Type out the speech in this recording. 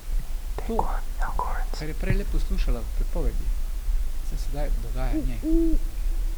To, kar je prej le poslušala v pripovedi, se sedaj dogaja njej.